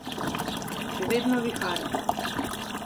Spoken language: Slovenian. Še vedno vihar.